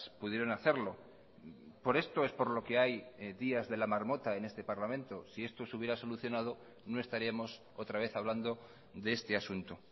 pudieron hacerlo por esto es por lo que hay días de la marmota en este parlamento si esto se hubiera solucionado no estaríamos otra vez hablando de este asunto